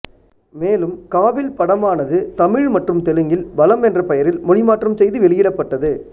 மேலும் காபில் படமானது தமிழ் மற்றும் தெலுங்கில் பலம் என்ற பெயரில் மொழிமாற்றம் செய்து வெளியிடப்பட்டது